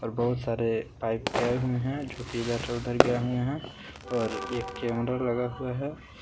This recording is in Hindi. बहुत सारे पाईप गये हुए है जो की इधर से उधर गए हुए है और एक कैमरा लगा हुआ है।